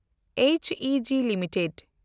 ᱮᱪᱤᱡᱤ limited